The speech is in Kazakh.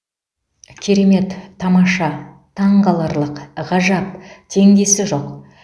керемет тамаша таңқаларлық ғажап теңдесі жоқ